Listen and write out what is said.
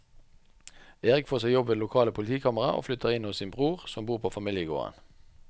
Erik får seg jobb ved det lokale politikammeret og flytter inn hos sin bror som bor på familiegården.